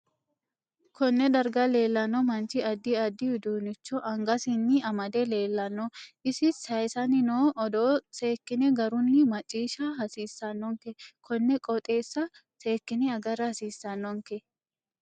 Konne darga leelanno manchi addi addi uduunicho angasinni amade leelanno isi sayiisanni noo odoo seekine garunni maciisha hasiisanonke konne qooxesa seekine agara hasiisanonke